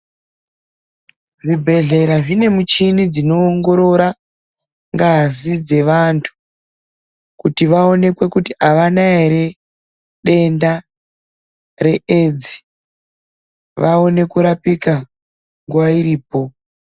Zvibhehlera zvine michini dzinoongorora ngazi dzevantu kuti vaonekwe kuti avana ere denda reedzi vaone kurapika nguwa iripo.